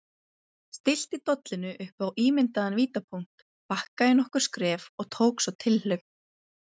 Stillti dollunni upp á ímyndaðan vítapunkt, bakkaði nokkur skref og tók svo tilhlaup.